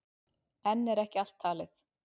Enn er ekki allt talið.